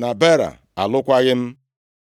na Baara alụkwaghị m.